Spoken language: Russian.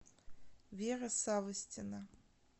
вера савостина